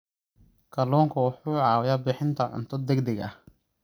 Kalluunku wuxuu caawiyaa bixinta cunto degdeg ah.